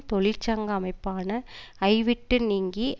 தொழிற்சங்க அமைப்பான ஐ விட்டு நீங்கி